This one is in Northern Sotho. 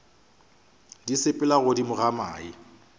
di sepela godimo ga mae